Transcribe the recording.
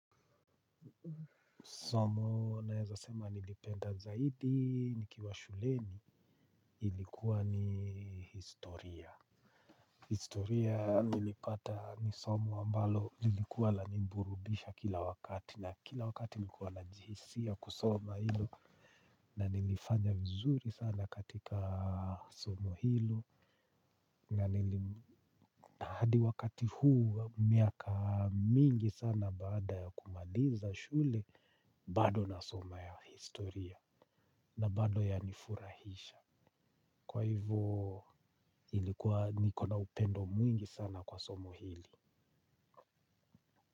Somo naweza sema nilipenda zaidi nikiwa shuleni lilikuwa ni historia. Historia nilipata ni somo ambalo lilikuwa linaniburudisha kila wakati, na kila wakati nilikuwa najisikia kulisoma, na nilifanya vizuri sana katika somo hilo. Na hadi wakati huu miaka mingi sana baada ya kumaliza shule bado nasoma ya historia na bado yanifurahisha. Kwa hivo ilikuwa nikona upendo mwingi sana kwa somo hili.